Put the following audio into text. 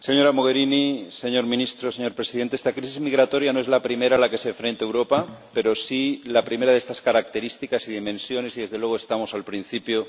Señor Presidente, señora Mogherini, señor Ministro, esta crisis migratoria no es la primera a la que se enfrenta Europa, pero sí la primera de estas características y dimensiones y, desde luego, estamos al principio.